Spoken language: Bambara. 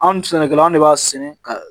Anw ni sɛnɛkɛlaw de b'a sɛnɛ ka